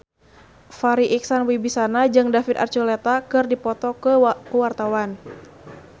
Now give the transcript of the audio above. Farri Icksan Wibisana jeung David Archuletta keur dipoto ku wartawan